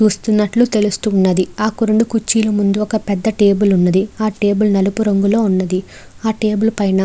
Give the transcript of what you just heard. చూస్తున్నట్లు తెలుస్తున్నది. ఆ రెండు కుర్చీలు ముందు ఒక పెద్ద టేబుల్ ఉన్నది. ఆ టేబుల్ నలుపు రంగులో ఉన్నది. ఆ టేబుల్ పైన --